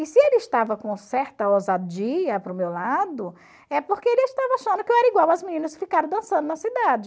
E se ele estava com certa ousadia para o meu lado, é porque ele estava achando que eu era igual as meninas que ficaram dançando na cidade.